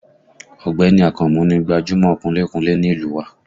Ọ̀gbẹ́ni Akànmú ni gbajúmọ̀ kunlé kunlé ní ìlú u wa